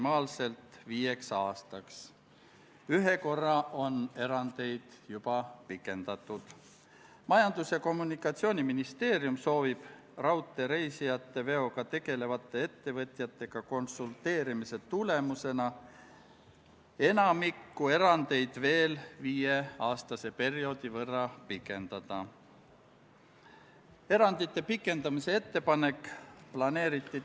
Tänane viies päevakorrapunkt on Vabariigi Valitsuse esitatud Riigikogu otsuse "Kaitseväe kasutamise tähtaja pikendamine Eesti riigi rahvusvaheliste kohustuste täitmisel rahvusvahelisel sõjalisel operatsioonil Inherent Resolve" eelnõu 66 teine lugemine.